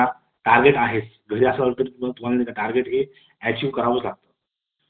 hybrid work from करा office मध्ये करा target आहेत जर तुम्हाला target अचूक करावा लागतो